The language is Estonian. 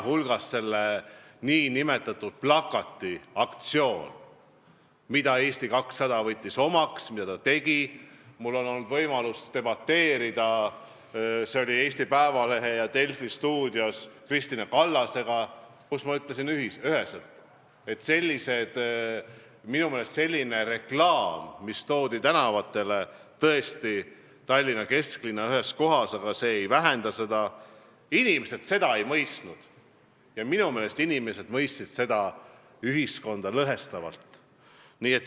Selle nn plakatiaktsiooni üle, mille Eesti 200 omaks võttis, oli mul võimalus debateerida Eesti Päevalehe ja Delfi stuudios Kristina Kallasega, kus ma ütlesin üheselt, et minu meelest sellist reklaami, mis toodi tänavatele – tõesti, ainult Tallinna kesklinna ühes kohas, aga see ei vähenda selle mõju –, inimesed ei mõistnud või minu meelest inimesed mõistsid seda lausa ühiskonda lõhestavalt.